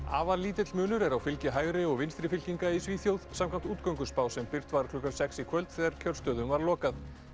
afar lítill munur er á fylgi hægri og vinstri fylkinga í Svíþjóð samkvæmt útgönguspá sem birt var klukkan sex í kvöld þegar kjörstöðum var lokað